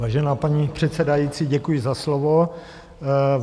Vážená paní předsedající, děkuji za slovo.